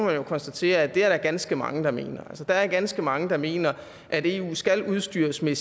jo konstatere at det er der ganske mange der mener altså der er ganske mange der mener at eu skal udstyres med